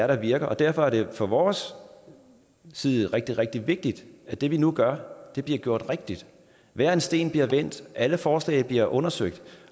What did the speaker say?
der virker derfor er det set fra vores side rigtig rigtig vigtigt at det vi nu gør bliver gjort rigtigt hver en sten bliver vendt alle forslag bliver undersøgt